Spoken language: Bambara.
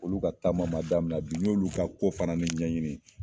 Olu ka taama man damina bi n'i ye olu ka ko fana ni ɲɛɲini.